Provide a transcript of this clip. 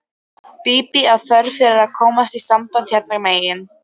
Bíbí af þörf fyrir að komast í samband hérna megin.